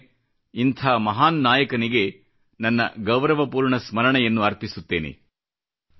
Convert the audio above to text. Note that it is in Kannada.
ಮತ್ತೊಮ್ಮೆ ಇಂಥ ಮಹಾನ್ ನಾಯಕನಿಗೆ ನನ್ನ ಗೌರವಪೂರ್ಣ ಸ್ಮರಣೆಯನ್ನು ಅರ್ಪಿಸುತ್ತೇನೆ